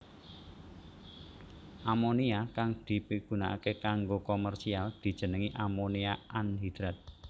Amonia kang dipigunakaké kanggo komersial dijenengi amonia anhidrat